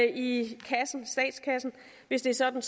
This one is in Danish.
i statskassen hvis det er sådan